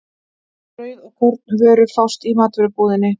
Brauð og kornvörur fást í matvörubúðinni.